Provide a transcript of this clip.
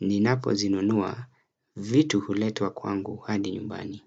ninapo zinunua vitu huletwa kwangu hadi nyumbani.